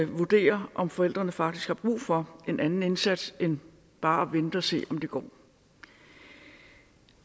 vurdere om forældrene faktisk har brug for en anden indsats end bare at vente og se om det går